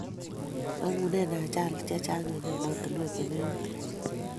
Mangunee ajalit chechang eng emotinwek chelegiten